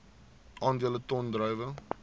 aandele ton druiwe